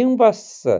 ең бастысы